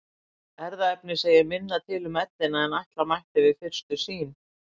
Erfðaefnið segir minna til um ellina en ætla mætti við fyrstu sýn.